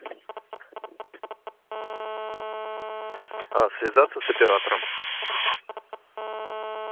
а связаться с оператором